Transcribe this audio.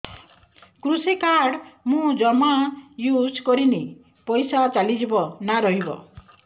କୃଷି କାର୍ଡ ମୁଁ ଜମା ୟୁଜ଼ କରିନି ପଇସା ଚାଲିଯିବ ନା ରହିବ